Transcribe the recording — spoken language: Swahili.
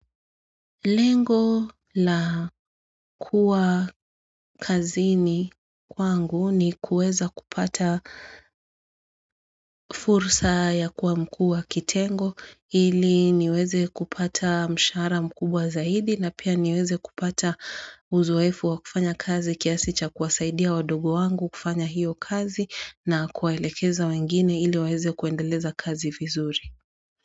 Lengo la kuwa kazini kwangu ni kuweza kupata fursa ya kuwa mkuu wa kitengo ili niweze kupata mshara mkubwa zaidi na pia niweze kupata uzowefu wa kufanya kazi kiasi cha kuwasaidia wadogo wangu kufanya hiyo kazi na kuwaelekeza wengine ili weze kuendeleza kazi vizuri.